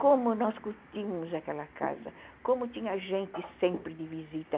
Como nós curtíamos aquela casa, como tinha gente sempre de visita.